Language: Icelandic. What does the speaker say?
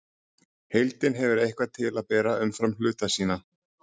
Heildin hefur eitthvað til að bera umfram hluta sína.